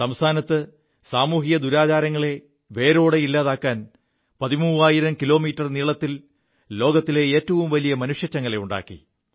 സംസ്ഥാനത്ത് സാമൂഹിക ദുരാചാരങ്ങളെ വേരോടെ ഇല്ലാതെയാക്കാൻ പതിമൂവായിരം കിലോമീറ്റർ നീളത്തിൽ ലോകത്തിലെ ഏറ്റവും വലിയ മനുഷ്യച്ചങ്ങല തീർത്തു